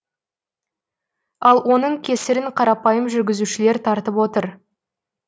ал оның кесірін қарапайым жүргізушілер тартып отыр